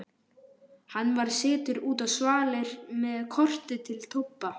Hann var sestur út á svalir með kortið til Tobba.